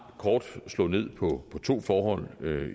kort slå ned på to forhold